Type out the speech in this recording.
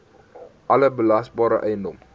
alle belasbare eiendom